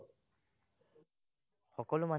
সকলো মানুহ